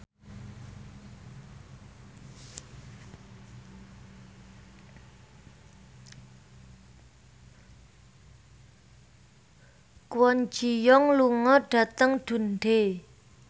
Kwon Ji Yong lunga dhateng Dundee